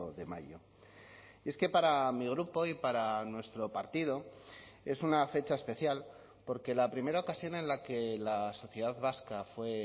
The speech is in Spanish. de mayo y es que para mi grupo y para nuestro partido es una fecha especial porque la primera ocasión en la que la sociedad vasca fue